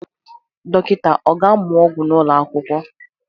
Dọkịta ọ ga-amụ ọgwụ n'ụlọ akwụkwọ?